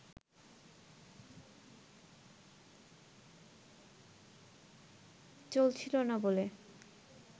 চলছিল না বলে